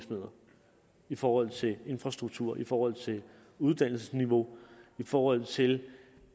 i forhold til infrastruktur i forhold til uddannelsesniveau i forhold til